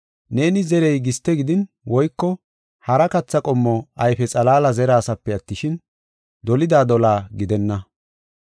Neeni zerey giste gidin woyko hara katha qommo ayfe xalaala zerasaape attishin, dolida dolaa gidenna.